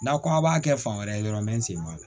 N'a ko aw b'a kɛ fan wɛrɛ dɔrɔn bɛ n sen bɔ a la